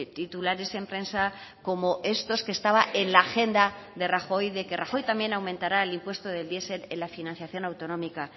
titulares en prensa como estos que estaba en la agenda de rajoy de que rajoy también aumentará el impuesto del diesel en la financiación autonómica